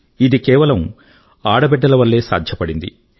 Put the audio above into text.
ఇది కేవలం ఆడబిడ్డల వల్లే సాధ్యపడింది